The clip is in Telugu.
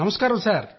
నమస్కారం సార్